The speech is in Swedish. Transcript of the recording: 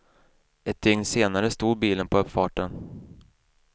Ett dygn senare stod bilen på uppfarten.